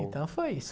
Então foi isso.